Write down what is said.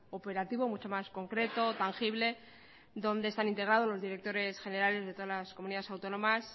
operativo mucho más concreto tangible donde están integrados los directores generales de todas las comunidades autónomas